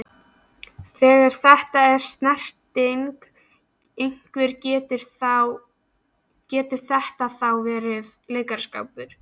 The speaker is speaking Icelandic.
Þegar það er snerting, hvernig getur þetta þá verið leikaraskapur?